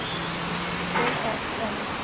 Til þess kom ekki.